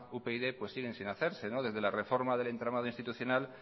upyd siguen sin hacerse desde la reforma del entramado institucional